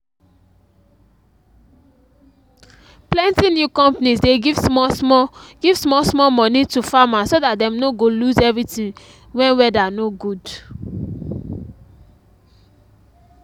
plenty new companies dey give small- small give small- small money to farmers so dat dem no go lose everything wen weather no good